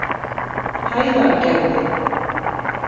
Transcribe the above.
Hæðargerði